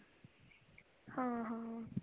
ਹਾਂ ਹਾਂ